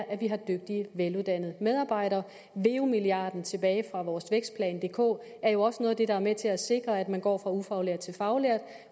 at vi har dygtige veluddannede medarbejdere veu milliarden tilbage fra vores vækstplan dk er jo også noget af det der er med til at sikre at man går fra ufaglært til faglært